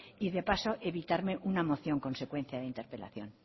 y de paso evitarme una moción consecuencia de interpelación